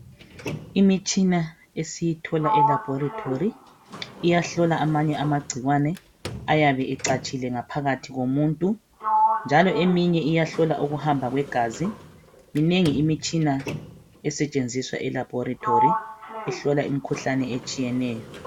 Imitshina esiyithola elaboratory iyahlola amanye amagcikwane ayabe ecatshile ngaphakathi komuntu njalo eminye iyahlola ukuhamba kwegazi. Minengi imitshina esetshenziswa elaboratory ehlola imikhuhlane etshiyeneyo.